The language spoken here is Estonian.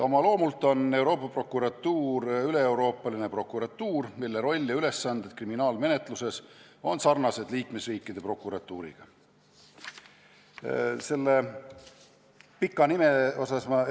Oma loomult on Euroopa Prokuratuur üleeuroopaline prokuratuur, mille roll ja ülesanded kriminaalmenetluses on sarnased liikmesriikide prokuratuuride omadega.